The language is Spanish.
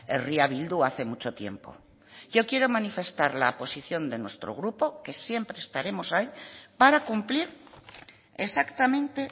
herria bildu hace mucho tiempo yo quiero manifestar la posición de nuestro grupo que siempre estaremos ahí para cumplir exactamente